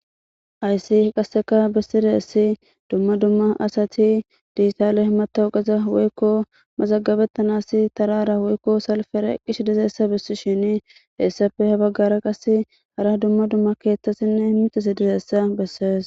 Aysi qasseka bissiraessi dumma dumma asati diitale himatauqaza woykko maxagabettanas tarara woykko salfere qish dizeessa bissi shini heessape habaggara qas hara dumma dumma keetthasinne imitas dizeessa bessees